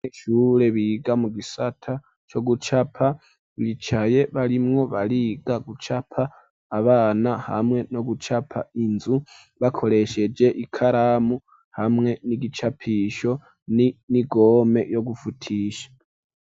Abanyeshure biga mu gisata co gucapa, bicaye barimwo bariga gucapaabana, hamwe nogucapa inzu bakoresheje ikaramu, hamwe n'igicapisho, n'igome yo gufutisha.